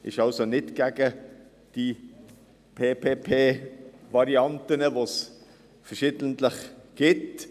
Wir sind nicht gegen PPP-Varianten, wovon es verschiedene gibt.